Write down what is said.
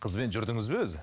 қызбен жүрдіңіз бе өзі